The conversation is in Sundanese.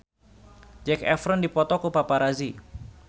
Zac Efron dipoto ku paparazi